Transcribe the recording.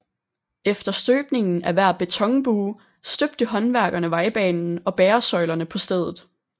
Efter støbningen af hver betonbue støbte håndværkerne vejbanen og bæresøjlerne på stedet